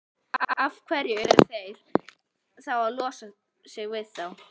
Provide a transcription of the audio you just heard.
Af hverju eru þeir þá að losa sig við þá?